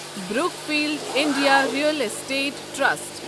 Brookfield India real estate trust